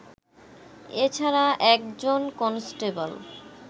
এ ছাড়া একজন কনস্টেবল